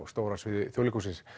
Stóra sviði Þjóðleikhússins